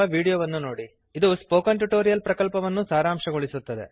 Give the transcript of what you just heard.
httpspoken tutorialorgWhat is a Spoken Tutorial ಅದು spoken tutorial ಪ್ರಕಲ್ಪವನ್ನು ಸಾರಾಂಶಗೊಳಿಸುತ್ತದೆ